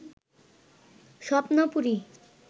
স্বপ্নপুরী